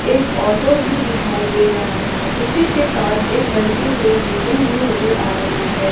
एक ऑटो भी दिखाई दे रहा है उसी के पास एक बनती हुई बिल्डिंग भी नजर आ रही है।